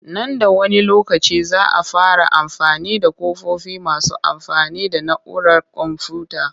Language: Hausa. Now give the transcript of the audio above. Nan da wani lokaci za a fara amfani da ƙofofi masu amfani da na'urar komfuyuta